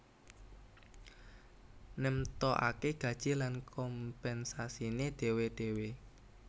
Nemtokake gaji lan kompensasiné dhéwé dhéwé